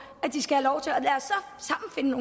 sofaen og